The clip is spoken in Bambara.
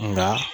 Nka